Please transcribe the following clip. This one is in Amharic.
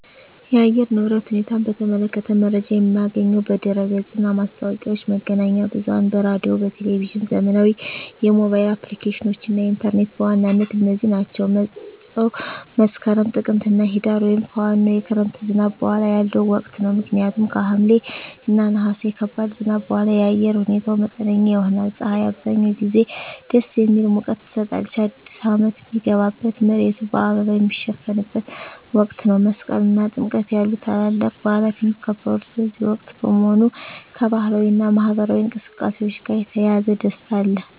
የአየር ንብረት ሁኔታን በተመለከተ መረጃ የማገኘው በድረ-ገጽ እና ማስታወቂያዎች፣ መገናኛ ብዙኃን በራዲዮ፣ በቴሊቭዥን፣ ዘመናዊ የሞባይል አፕሊኬሽኖች እና ኢንተርኔት በዋናነት እነዚህ ናቸው። መፀው መስከረም፣ ጥቅምትና ህዳር) ወይም ከዋናው የክረምት ዝናብ በኋላ ያለው ወቅት ነው። ምክንያቱም ከሐምሌ እና ነሐሴ ከባድ ዝናብ በኋላ የአየር ሁኔታው መጠነኛ ይሆናል። ፀሐይ አብዛኛውን ጊዜ ደስ የሚል ሙቀት ትሰጣለች። አዲስ አመት ሚገባበት፣ መሬቱ በአበባ ሚሸፈንበት ወቅት ነው። መስቀል እና ጥምቀት ያሉ ታላላቅ በዓላት የሚከበሩት በዚህ ወቅት በመሆኑ፣ ከባህላዊ እና ማኅበራዊ እንቅስቃሴዎች ጋር የተያያዘ ደስታ አለ።